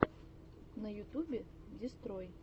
на ютюбе дестрой